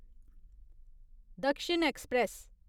दक्षिण ऐक्सप्रैस